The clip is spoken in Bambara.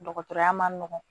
Dɔgɔtɔrɔya man nɔgɔn